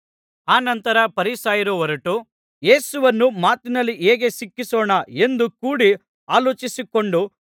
ಅನಂತರ ಫರಿಸಾಯರು ಹೊರಟು ಯೇಸುವನ್ನು ಮಾತಿನಲ್ಲಿ ಹೇಗೆ ಸಿಕ್ಕಿಸೋಣ ಎಂದು ಕೂಡಿ ಆಲೋಚಿಸಿಕೊಂಡು